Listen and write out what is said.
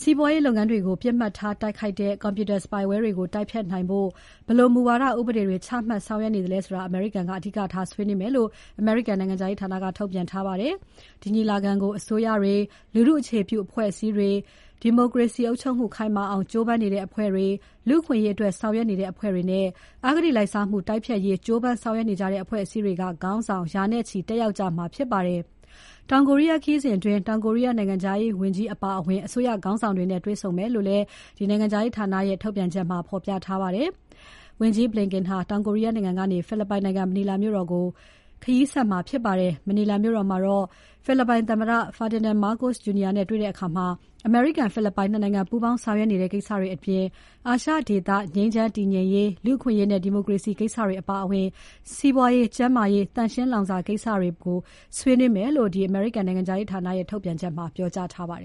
စီးပွားရေးလုပ်ငန်းတွေကို ပစ်မှတ်ထားတိုက်ခိုက်တဲ့ Computer spyware တွေကို တိုက်ဖျက်နိုင်ဖို့ ဘယ်လိုမူဝါဒ ဥပဒေတွေချမှတ်ဆောင်ရွက်နေသလဲဆိုတာ အမေရိကန်က အဓိကထားဆွေးနွေးမယ်လို့ အမေရိကန်နိုင်ငံခြားရေးဌာနက ထုတ်ပြန်ထားပါတယ်။ ဒီညီလာခံကို အစိုးရတွေ၊ လူထုအခြေပြုအဖွဲ့အစည်းတွေ၊ ဒီမိုကရေစီအုပ်ချုပ်မှု ခိုင်မာအောင် ကြိုးပမ်းနေတဲ့ အဖွဲ့တွေ၊ လူအခွင့်အရေးအတွက်ဆောင်ရွက်နေတဲ့ အဖွဲ့တွေနဲ့ အဂတိလိုက်စားမှုတိုက်ဖျက်ရေး ကြိုးပမ်းဆောင်ရွက်နေကြတဲ့ အဖွဲ့အစည်းတွေက ခေါင်းဆောင် ရာနဲ့ချီတက်ရောက်ကြမှာဖြစ်ပါတယ်။ တောင်ကိုရီးယားခရီးစဉ်အတွင်း တောင်ကိုရီးယား နိုင်ငံခြားရေးဝန်ကြီး Cho Tae-yul အပါအဝင် အစိုးရခေါင်းဆောင်တွေနဲ့ တွေ့ဆုံမယ်လို့ နိုင်ငံခြားရေးဌာနရဲ့ ထုတ်ပြန်ချက်မှာ ဖော်ပြထားပါတယ်။ တောင်ကိုရီးယားနိုင်ငံကနေ ဖိလစ်ပိုင်နိုင်ငံ မနီလာမြို့တော်ကို ဝန်ကြီး Blinken ခရီးဆက်မှာဖြစ်ပါတယ်။ မနီလာမြို့တော်မှာ ဖိလစ်ပိုင်သမ္မတ Ferdinand Marcos Jr. နဲ့တွေ့ဆုံတဲ့အခါ အမေရိကန် ဖိလစ်ပိုင် ၂ နိုင်ငံ ပူးပေါင်းဆောင်ရွက်နေတဲ့ ကိစ္စတွေအပြင် အာရှဒေသ ငြိမ်းချမ်းတည်ငြိမ်ရေး၊ လူ့အခွင့်အရေးနဲ့ ဒီမိုကရေစီကိစ္စတွေအပါအဝင် စီးပွားရေး၊ ကျန်းမာရေး သန့်ရှင်းလောင်စာကိစ္စတွေ ပါဝင်မယ်လို့ နိုင်ငံခြားရေးဌာနရဲ့ ထုတ်ပြန်ချက်မှာ ပြောကြားထားပါတယ်